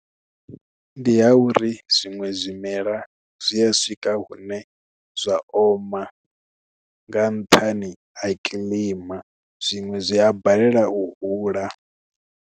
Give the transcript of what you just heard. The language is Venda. Ndi ha uri zwiṅwe zwimela zwi a swika hune zwa oma nga nṱhani ha kilima zwiṅwe zwi a balelwa u hula.